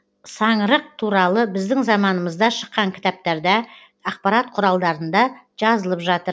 саңырық туралы біздің заманымызда шыққан кітаптарда ақпарат құралдарында жазылып жатыр